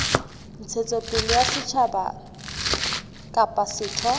ntshetsopele ya setjhaba kapa setho